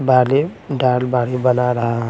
बालें डाल बाढ़ही बना रहा--